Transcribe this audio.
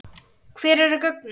Hver eru gögnin?